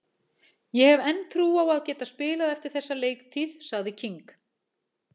Ég hef enn trú á að geta spilað eftir þessa leiktíð, sagði King.